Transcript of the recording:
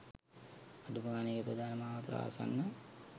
අඩුම ගානේ ඒ ප්‍රධාන මාවතට ආසන්න